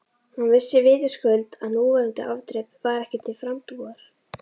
Hann vissi vitaskuld að núverandi afdrep var ekki til frambúðar.